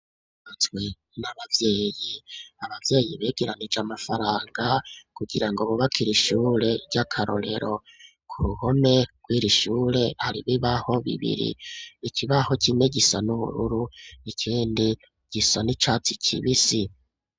Ishure ryubatswe n'abavyeyi, abavyeyi begeranije amafaranga kugira ngo bubakire ishure ry'akarorero ku ruhome rwiri shure hari ibibaho bibiri ikibaho kimwe gisa n'ubururu ikindi gisa n'icatsi kibisi.